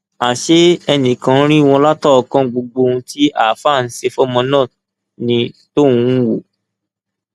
àṣé ẹnìkan ń rí wọn látọọkán gbogbo ohun tí àáfàá ń ṣe fọmọ náà ni tọhún ń wò